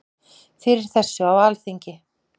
Fyrir þessu á Alþingi.